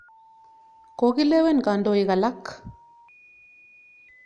Kokilewen kandoik alak.